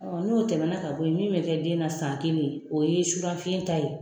n'o tɛmɛna ka boyi min bɛ kɛ den na san kelen o ye surafiyen ta ye.